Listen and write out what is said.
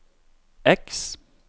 X